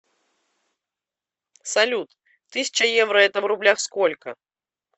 салют тысяча евро это в рублях сколько